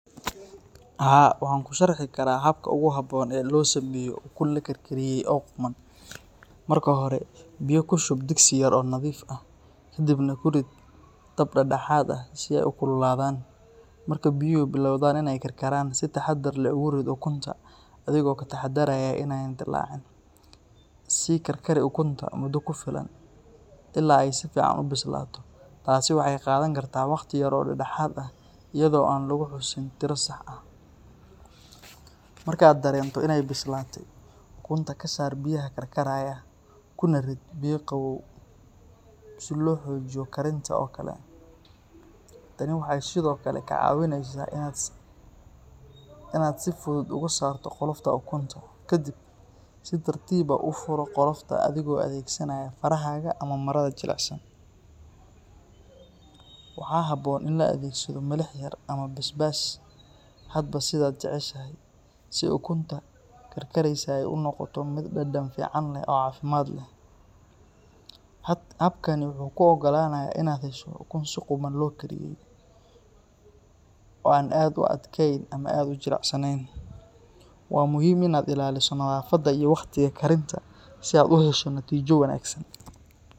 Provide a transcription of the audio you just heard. Haa, waxaan kuu sharxi karaa habka ugu habboon ee loo sameeyo ukun la karkariyey oo quman. Marka hore, biyo ku shub digsi yar oo nadiif ah, kaddibna ku rid dab dhexdhexaad ah si ay u kululaadaan. Marka biyuhu bilowdaan inay karkaraan, si taxaddar leh ugu rid ukunta adigoo ka taxaddaraya inaanay dillaacin. Sii karkari ukunta muddo ku filan ilaa ay si fiican u bislaato, taasi waxay qaadan kartaa waqti yar oo dhexdhexaad ah iyadoo aan lagu xusin tiro sax ah. Marka aad dareento inay bislaatay, ukunta ka saar biyaha karkaraya, kuna rid biyo qabow si loo joojiyo karinta oo kale. Tani waxay sidoo kale kaa caawinaysaa inaad si fudud uga saarto qolofta ukunta. Ka dib, si tartiib ah u furo qolofta adigoo adeegsanaya farahaaga ama marada jilicsan. Waxaa habboon in la adeegsado milix yar ama basbaas hadba sidaad jeceshahay, si ukuntaa karkaraysa ay u noqoto mid dhadhan fiican leh oo caafimaad leh. Habkani wuxuu kuu oggolaanayaa inaad hesho ukun si qumman loo kariyey, oo aan aad u adagayn ama aad u jilicsanayn. Waa muhiim inaad ilaaliso nadaafadda iyo wakhtiga karinta si aad u hesho natiijo wanaagsan.